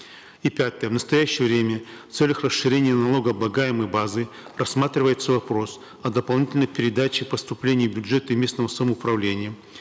и пятое в настоящее время в целях расширения налогооблагаемой базы рассматривается вопрос о дополнительной передаче поступлений в бюджеты местного самоуправления